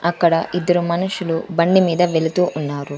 అక్కడ ఇద్దరు మనుషులు బండిమీద వెళుతూ ఉన్నారు.